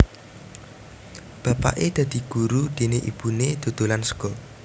Bapaké dadi guru déné ibuné dodolan sega